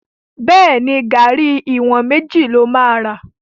Bẹ́ẹ̀ni, garri ìwọ̀n méjì ló máa ra.